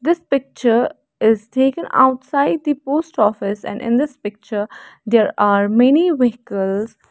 this picture is taken outside the post office and in this picture there are many vehicles.